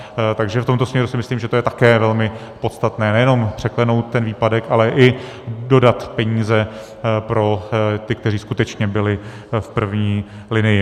Takže v tomto směru si myslím, že to je taky velmi podstatné, nejenom překlenout ten výpadek, ale i dodat peníze pro ty, kteří skutečně byli v první linii.